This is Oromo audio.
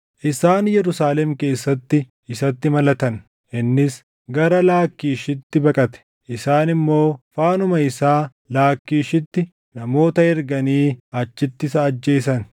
Isaan Yerusaalem keessatti isatti malatan; innis gara Laakkiishitti baqate; isaan immoo faanuma isaa Laakkiishitti namoota erganii achitti isa ajjeesan.